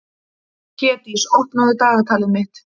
Hlédís, opnaðu dagatalið mitt.